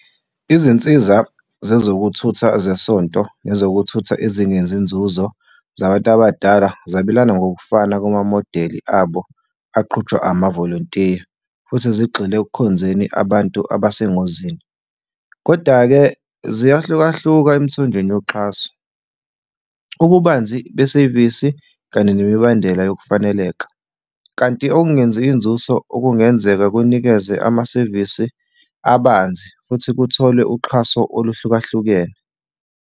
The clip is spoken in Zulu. Izinsiza zezokuthutha zesonto nezokuthutha ezingenzi nzuzo zabantu abadala zabelana ngokufana kumamodeli abo aqutshulwa amavolontiya, futhi zigxile ekukhonzeni abantu abesengozini. Koda-ke, ziyahlukahlukana emithonjeni yoxhaso, ububanzi besevisi, kanye nemibandela yokufaneleka, kanti okungenzi inzuzo okungenzeka kunikeze amasevisi abanzi futhi kuthole uxhaso okuhlukahlukene.